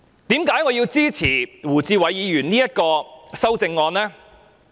為何我要支持胡志偉議員的修正案呢？